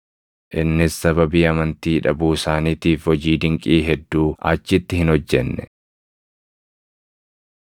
Innis sababii amantii dhabuu isaaniitiif hojii dinqii hedduu achitti hin hojjenne.